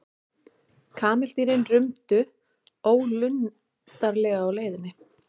Kameldýrin rumdu ólundarlega á leiðinni.